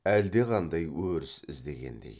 әлдеқандай өріс іздегендей